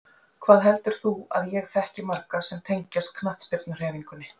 Hvað heldur þú að ég þekki marga sem tengjast knattspyrnuhreyfingunni?